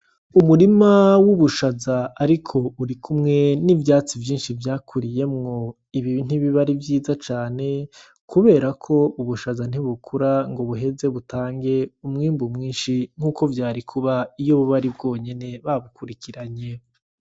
Umurima w'ubushaza ariko burikumwe n'ivyatsi vyakuriyemwo. Ibi ntibiba ari vyiza cane kubera ko ubushaza ntibukura ngo buheze butange umwimbu mwinshi nkuko vyari kuba iyo buba ari bwonyene, babukurikiranye.